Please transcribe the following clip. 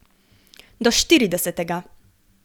Do štiridesetega.